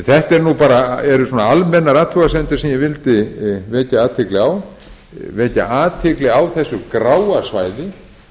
þetta eru svona almennar athugasemdir sem ég vildi vekja athygli á vekja athygli á þessu gráa svæði